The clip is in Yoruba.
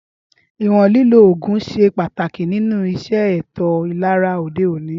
ìwọ̀n lílò oògùn ṣe pàtàkì nínu iṣẹ́ ètò ìlera òde òní